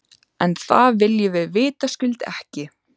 En það viljum við vitaskuld ekki.